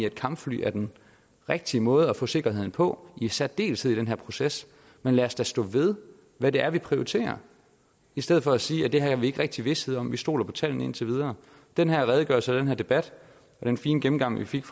at kampfly er den rigtige måde at få sikkerhed på i særdeleshed i den her proces men lad os da stå ved hvad det er vi prioriterer i stedet for at sige at det her har vi ikke rigtig vished om vi stoler på tallene indtil videre den her redegørelse og den her debat og den fine gennemgang vi fik